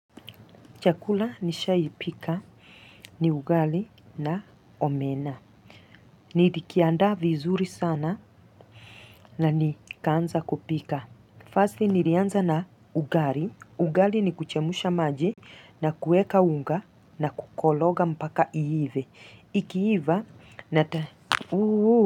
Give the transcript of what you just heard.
Chakula nishawahi pika ni ugali na omena. Nilikiandaa vizuri sana na nikaanza kupika. Firstly, nilianza na ugali. Ugali ni kuchemsha maji na kuweka unga na kukoroga mpaka iive. Ikiiva na ta Uuuu.